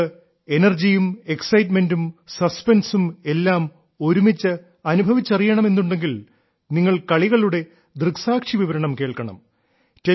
നിങ്ങൾക്ക് എനർജിയും എക്സൈറ്റ്മെന്റും സസ്പെൻസും എല്ലാം ഒരുമിച്ച് അനുഭവിച്ചറിയണം എന്നുണ്ടെങ്കിൽ നിങ്ങൾ കളികളുടെ ദൃക്സാക്ഷി വിവരണം കേൾക്കണം